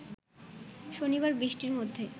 শনিবার বৃষ্টির মধ্যে